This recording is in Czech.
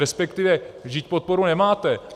Respektive, vždyť podporu nemáte.